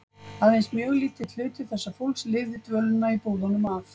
Aðeins mjög lítill hluti þessa fólks lifði dvölina í búðunum af.